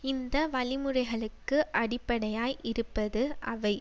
இந்த வழிமுறைகளுக்கு அடிப்படையாய் இருப்பது அவை